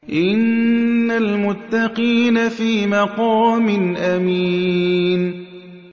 إِنَّ الْمُتَّقِينَ فِي مَقَامٍ أَمِينٍ